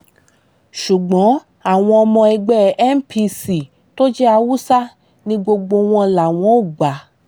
ṣùgbọ́n àwọn ọmọ ẹgbẹ́ npc tó jẹ́ haúsá ni gbogbo wọn làwọn ò gbà